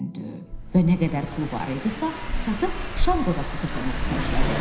Və nə qədər pul var idisə satıb şam qozası toplamağa xərclədi.